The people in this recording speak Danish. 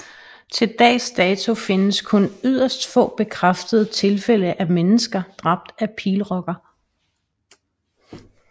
Til dags dato findes kun yderst få bekræftede tilfælde af mennesker dræbt af pilrokker